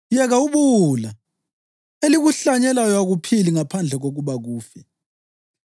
Yeka ubuwula! Elikuhlanyelayo akuphili ngaphandle kokuba kufe.